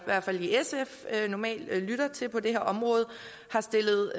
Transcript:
hvert fald i sf normalt lytter til på det her område har stillet